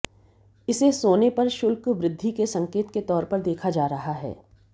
इसे सोने पर शुल्क वृद्धि के संकेत के तौर पर देखा जा रहा है